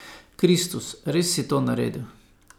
Kristus, res si to naredil.